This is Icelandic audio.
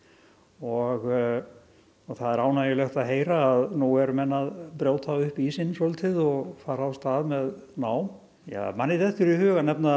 og það er ánægjulegt að heyra að nú eru menn að brjóta upp ísinn svolítið og fara af stað með nám manni dettur í hug að nefna